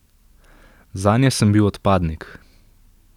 Zanje sem bil odpadnik.